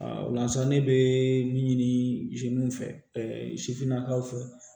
o la sa ne bɛ min ɲini ɛ sifinnakaw fɛ